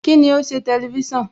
Kíni o ṣe Tẹlifísàn?